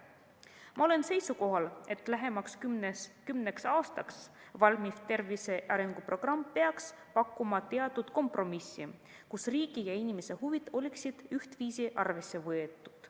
Ma olen seisukohal, et lähemaks kümneks aastaks valmiv tervise arenguprogramm peaks pakkuma teatud kompromissi, kus riigi ja inimese huvid oleksid ühtviisi arvesse võetud.